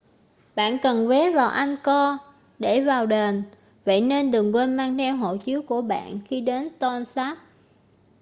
bạn cần vé vào angkor để vào đền vậy nên đừng quên mang theo hộ chiếu của bạn khi đi đến tonle sap